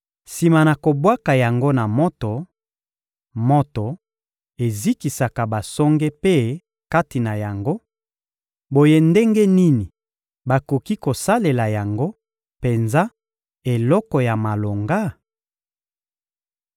Sima na kobwaka yango na moto, moto ezikisaka basonge mpe kati na yango; boye ndenge nini bakoki kosalela yango penza eloko ya malonga?